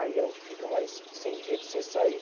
Aí a gente ficava sem sem jeito, sem saída.